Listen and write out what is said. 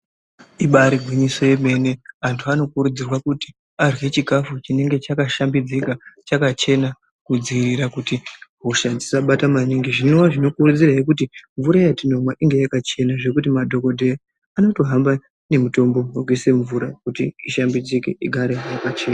Ibaari gwinyiso yemene, antu anokurudzirwa kuti arye chikafu chinenge chakashambidzika, chakachena, kudziirira kuti hosha dzisabata maningi .Zvinova zvinokonzerahe kuti mvura yatinomwa inge yakachena zvekuti madhokodheya anotohamba nemutombo ,wekuise mumvura, kuti ishambidzike, igare yakachena.